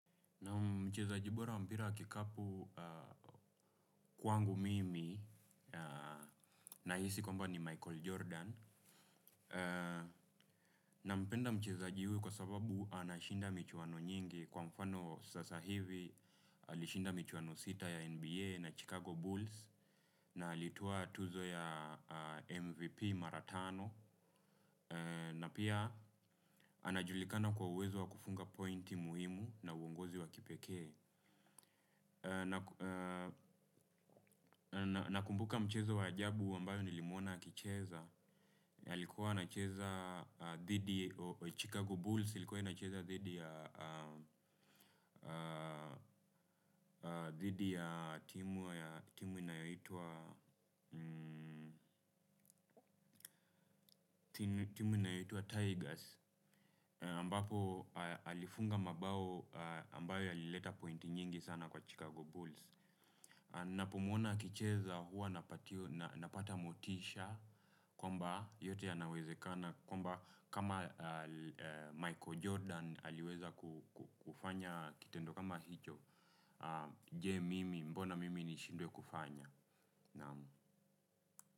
Mchezaji bora wa mpira wa kikapu kwangu mimi nahisi kwamba ni Michael Jordan. Nampenda mchezaji huyu kwa sababu anashinda michuano nyingi kwa mfano sasa hivi. Alishinda michuano sita ya NBA na Chicago Bulls na alitoa tuzo ya MVP Mara tano. Na pia anajulikana kwa uwezo wa kufunga pointi muhimu na uongozi wa kipekee. Nakumbuka mchezo wa ajabu ambao nilimuona akicheza, alikuwa anacheza dhidi, chicago bulls ilikuwa ikicheza dhidi ya timu inayoitwa Tigers Ambapo alifunga mabao ambayo yalileta pointi nyingi sana kwa Chicago Bulls ninapomuona akicheza hua napata motisha kwamba yote yanawezekana kwamba kama Michael Jordan aliweza kufanya kitendo kama hicho, je mimi mbona mimi nishindwe kufanya.